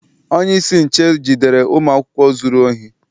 Onyeisi nche jidere ụmụ akwụkwọ zụrụ ohi.